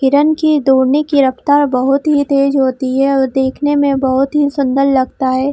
हिरण की दौड़ने की रफ्तार बहुत ही तेज होती है और देखने मे बहुत ही सुंदर लगता है।